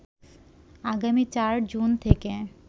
আগামী ৪ জুন থেকে